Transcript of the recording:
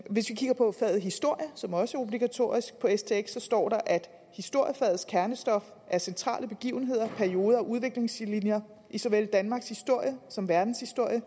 hvis vi kigger på faget historie som også er obligatorisk på stx der står at historiefagets kernestof er centrale begivenheder perioder og udviklingslinjer i såvel danmarks historie som verdens historie og